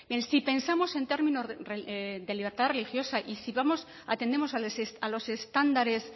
en si pensamos en términos de libertad religiosa y si vamos atendemos a los estándares